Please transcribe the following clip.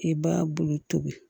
I b'a bolo tobi